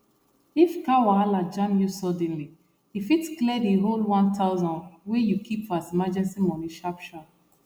if car wahala jam you suddenly e fit clear the whole one thousand wey you keep as emergency money sharpshar